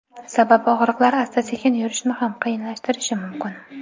Sababi og‘riqlar asta-sekin yurishni ham qiyinlashtirishi mumkin.